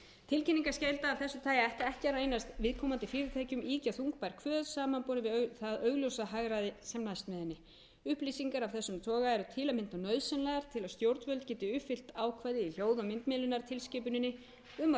tilkynningarskylda af þessu tagi ætti ekki að reynast viðkomandi fyrirtækjum ýkja þungbær kvöð samanborið við það augljósa hagræði sem næst með henni upplýsingar af þessum toga eru til að mynda nauðsynlegar til að stjórnvöld geti uppfyllt ákvæði í þjóð og margmiðlunartilskipuninni um að